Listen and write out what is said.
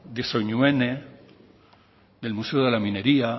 de soinuene del museo de la minería